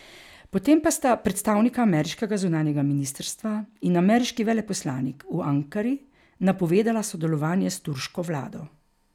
Po tem pa sta predstavnika ameriškega zunanjega ministrstva in ameriški veleposlanik v Ankari napovedala sodelovanje s turško vlado.